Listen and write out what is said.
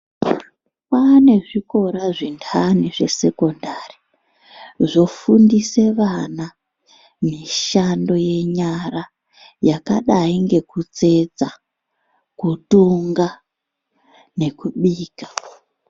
Kwaane zvikora zvintani zvesekondari zvofundise vana mishando yenyara yakadai ngekutsetsa, kutonga nekubika.